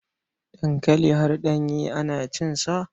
Dankali har ɗanye ana cinsa.